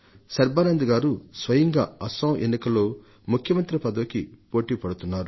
సర్బానంద్ గారు స్వయంగా అస్సాం ఎన్నికల్లో ముఖ్యమంత్రి పదవికి పోటీ పడుతున్నారు